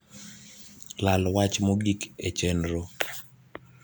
lal wach mogik e chenro